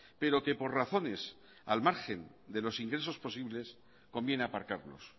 pero que por razones al margen de los ingresos posibles conviene aparcarlos